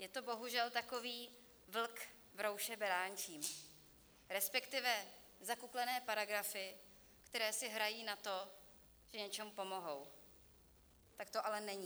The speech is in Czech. Je to bohužel takový vlk v rouše beránčím, respektive zakuklené paragrafy, které si hrají na to, že něčemu pomohou, tak to ale není.